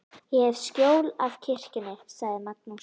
Ég hef skjól af kirkjunni, sagði Magnús.